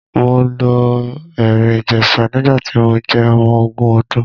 Mo lọ Ẹ̀rìn-Ìjèṣa nígbà tí mo jẹ́ ọmọ ogún ọdún.